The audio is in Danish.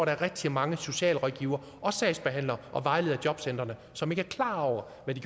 rigtig mange socialrådgivere og sagsbehandlere og vejledere i jobcentrene som ikke er klar over hvad